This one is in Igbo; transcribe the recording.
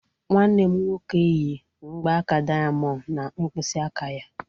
Nwanne m nwoke yi mgbaaka diamond na mkpịsị aka ya